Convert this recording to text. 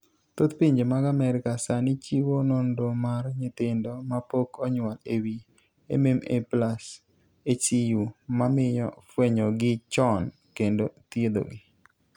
Thoth pinje mag Amerka sani chiwo nonro mar nyithindo mapok onyuol e wi MMA+HCU, mamiyo fwenyogi chon kendo thiedhogi.